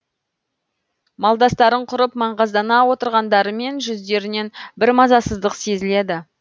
малдастарын құрып маңғаздана отырғандарымен жүздерінен бір мазасыздық сезіледі